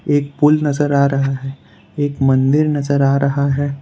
एक पुल नजर आ रहा है एक मंदिर नजर आ रहा है।